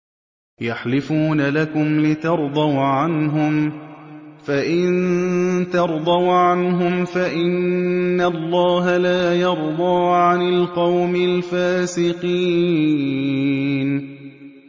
يَحْلِفُونَ لَكُمْ لِتَرْضَوْا عَنْهُمْ ۖ فَإِن تَرْضَوْا عَنْهُمْ فَإِنَّ اللَّهَ لَا يَرْضَىٰ عَنِ الْقَوْمِ الْفَاسِقِينَ